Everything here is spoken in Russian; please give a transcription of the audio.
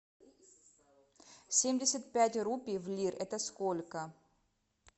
семьдесят пять рупий в лир это сколько